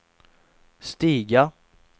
stiga